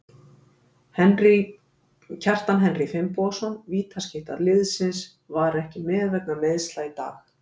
Kjartan Henry Finnbogason, vítaskytta liðsins, var ekki með vegna meiðsla í dag.